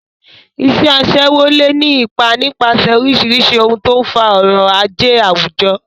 Iṣẹ́ aṣẹ́wó lè ní ipa nípasẹ̀ oríṣiríṣi ohun tó ń fa ọrọ̀ ajé àwùjọ.